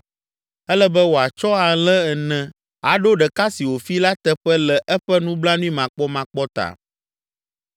Ele be wòatsɔ alẽ ene aɖo ɖeka si wòfi la teƒe le eƒe nublanuimakpɔmakpɔ ta.”